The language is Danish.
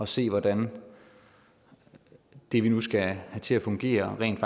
se hvordan det vi nu skal have til at fungere rent